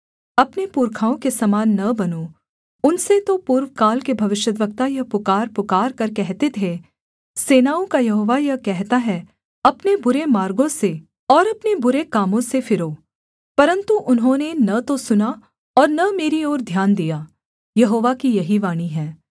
अपने पुरखाओं के समान न बनो उनसे तो पूर्वकाल के भविष्यद्वक्ता यह पुकार पुकारकर कहते थे सेनाओं का यहोवा यह कहता है अपने बुरे मार्गों से और अपने बुरे कामों से फिरो परन्तु उन्होंने न तो सुना और न मेरी ओर ध्यान दिया यहोवा की यही वाणी है